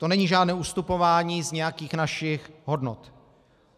To není žádné ustupování z nějakých našich hodnot.